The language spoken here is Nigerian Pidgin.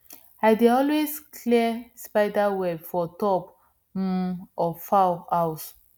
i dey always clear spider web for top um of fowl house